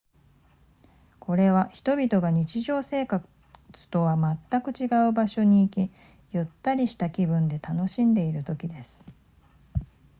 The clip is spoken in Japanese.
これは人々が日常生活とはまったく違う場所に行きゆったりした気分で楽しんでいる時です